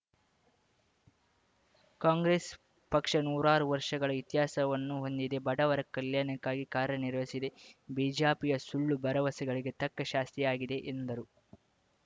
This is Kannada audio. ಕಾಂಗ್ರೆಸ್‌ ಪಕ್ಷ ನೂರಾರು ವರ್ಷಗಳ ಇತಿಹಾಸವನ್ನು ಹೊಂದಿದೆ ಬಡವರ ಕಲ್ಯಾಣಕ್ಕಾಗಿ ಕಾರ್ಯನಿರ್ವಹಿಸಿದೆ ಬಿಜಪಿಯ ಸುಳ್ಳು ಭರವಸೆಗಳಿಗೆ ತಕ್ಕಶಾಸ್ತಿಯಾಗಿದೆ ಎಂದರು